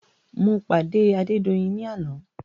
Mo pàdé Adédoyin ní àná.